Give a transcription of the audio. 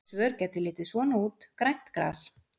Slík svör gætu litið svona út: Grænt gras.